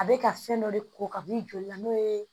A bɛ ka fɛn dɔ de ko ka b'i joli la n'o ye